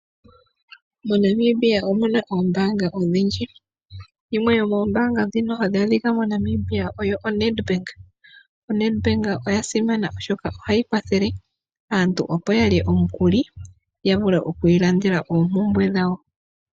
MoNamibia omu na oombaanga odhindji yimwe yoombanga ndhoka tadhi adhika moNamibia oyo oNedbank. ONedbank oya simana, oshoka ohayi kwathele aantu opo ya lye omukuli ya vule okwiilandela oompumbwe dhawo.